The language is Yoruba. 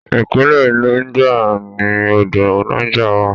Ìpínlẹ̀ Niger ni odò Niger wà.